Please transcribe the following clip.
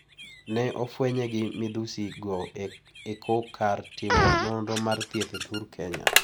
Ne ofwenye gi midhusi go eko kar timo nonro mar thieth e thur Kenya.